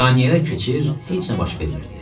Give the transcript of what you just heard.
Saniyələr keçir, heç nə baş vermirdi.